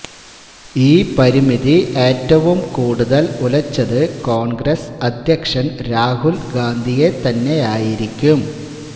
ഈ പരിമിതി ഏറ്റവും കൂടുതൽ ഉലച്ചത് കോൺഗ്രസ് അധ്യക്ഷൻ രാഹുൽ ഗാന്ധിയെ തന്നെയായിരിക്കും